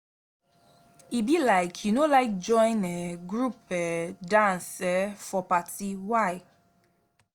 e be like you no like join um group um dance um for party why?